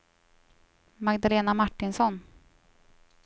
Magdalena Martinsson